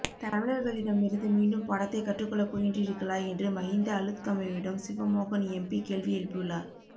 தமிழர்களிடமிருந்து மீண்டும் பாடத்தை கற்றுக் கொள்ளப் போகின்றீர்களா என்று மஹிந்த அளுத்கமவிடம் சிவமோகன் எம்பி கேள்வி எழுப்பியுள்ளார்